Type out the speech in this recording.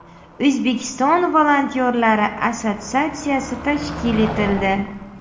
O‘zbekiston volontyorlari assotsiatsiyasi tashkil etildi.